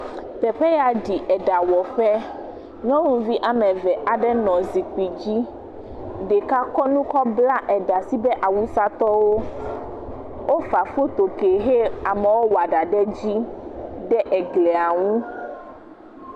Teƒe ya ɖi ɖawɔƒe. Nyɔnuvi woame eve aɖe nɔ zikpui dzi. Ɖeka kɔ nu bla ɖa nasu be awusatɔwo. Wofa foto ke hɛ amewo wɔ ɖa ɖe dzi ɖe glia ŋu.